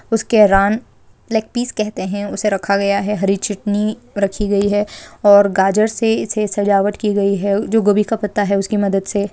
उसके leg piece कहते है उसको रखा गया है हरी चटनी रखी गयी है और गाजर से इसे सजावट की गयी है जो गोबी का पत्ता है उसकी मदद से --